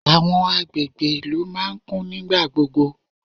Àwọn agbègbè ìlú máa ń kún nígbà gbogbo.